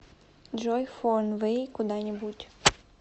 джой фон вэй куда нибудь